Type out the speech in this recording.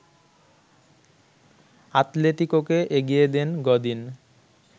আতলেতিকোকে এগিয়ে দেন গদিন